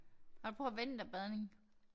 Har du prøvet vinterbadning?